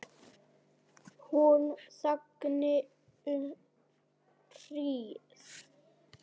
Hún þagði um hríð.